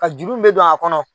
Ka juru min mɛ don a kɔnɔ